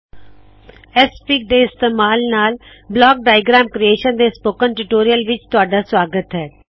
XFIG Xfig ਦੇ ਇਸਤੇਮਾਲ ਨਾਲ ਬਲੌਕ ਡਾਇਆਗ੍ਰਾਮ ਕ੍ਰਿਏਸ਼ਨ ਦੇ ਸਪੋਕਨ ਟਿਊਟੋਰੀਅਲ ਵਿੱਚ ਤੁਹਾਡਾ ਸਵਾਗਤ ਹੈ